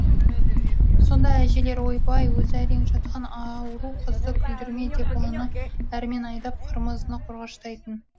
сонда әжелері ойбай өзі әрең жатқан ауру қызды күлдірме деп оны әрмен айдап қырмызыны қорғаштайтын